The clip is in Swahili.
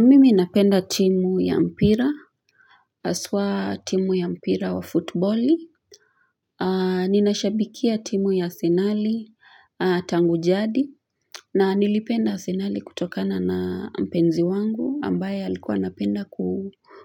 Mimi ninapenda timu ya mpira, haswa timu ya mpira wa futiboli, ninashabikia timu ya Asenali tangu jadi, na nilipenda Asenali kutokana na mpenzi wangu, ambaye alikuwa anapenda